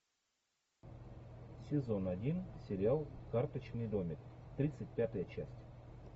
сезон один сериал карточный домик тридцать пятая часть